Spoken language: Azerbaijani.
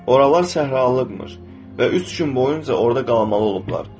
Oralar səhralıqmış və üç gün boyunca orada qalmalı olublar.